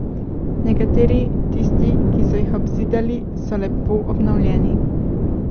Nekateri, tisti, ki so jih obzidali, so lepo obnovljeni.